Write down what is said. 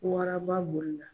Waraba bolila.